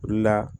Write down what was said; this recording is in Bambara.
O de la